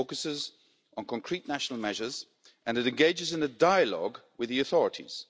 It focuses on concrete national measures and engages in a dialogue with the authorities.